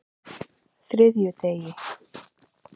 þriðjudegi